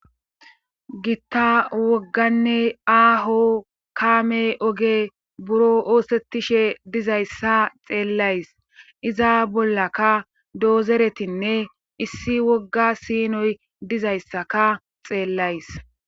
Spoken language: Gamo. gitta wogganne aaho kaame oge buro oosettishe dizayssa xeellays iza bollakka doozeretinne issi wogga siinoy dizayssaka xeellays